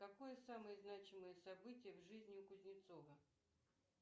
какое самое значимое событие в жизни у кузнецова